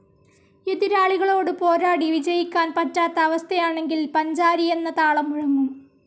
എതിരാളികളോട് പോരാടി വിജയിക്കാൻ പറ്റാത്ത അവസ്ഥയാണെങ്കിൽ പഞ്ചാരി എന്ന താളം മുഴങ്ങും.